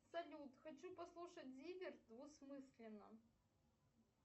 салют хочу послушать зиверт двусмысленно